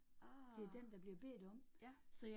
Ah. Ja